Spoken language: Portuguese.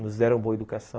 Nos deram boa educação.